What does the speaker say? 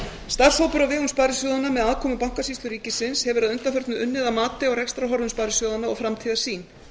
starfshópur á vegum sparisjóðanna með aðkomu bankasýslu ríkisins hefur að undanförnu unnið að mati á rekstrarhorfum sparisjóðanna og framtíðarsýn